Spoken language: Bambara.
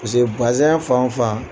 Paseke fan o fan